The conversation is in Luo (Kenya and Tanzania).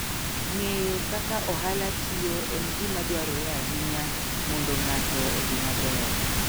Ng'eyo kaka ohala tiyo en gima dwarore ahinya mondo ng'ato odhi maber.